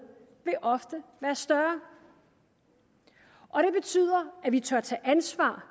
vil ofte være større og det betyder at vi tør tage ansvar